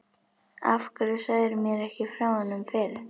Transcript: Af hverju sagðirðu mér ekki frá honum fyrr?